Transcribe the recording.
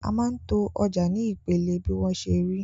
A máa ń to ọjà ní ìpele bí wọ́n ṣe rí.